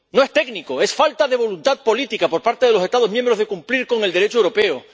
No es técnico, es falta de voluntad política, por parte de los Estados miembros, de cumplir con el Derecho europeo.